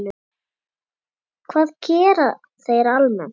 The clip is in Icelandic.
Hvað gera þeir almennt?